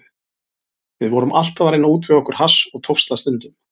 Við vorum alltaf að reyna að útvega okkur hass og tókst það stundum.